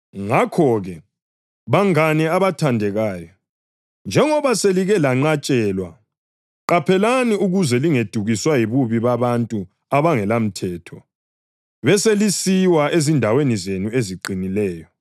Ngakho-ke, bangane abathandekayo, njengoba selike lenqatshelwa, qaphelani ukuze lingedukiswa yibubi babantu abangelamthetho beselisiwa ezindaweni zenu eziqinileyo.